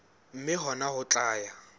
mme hona ho tla ya